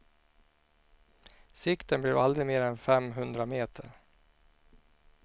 Sikten blev aldrig mer än fem hundra meter.